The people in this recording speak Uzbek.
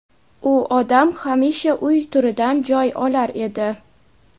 U odam hamisha uy turidan joy olar edi.